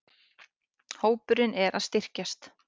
Hópurinn er að styrkjast.